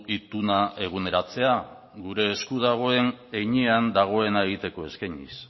ituna eguneratzea gure eskura dagoen heinean dagoena egiteko eskainiz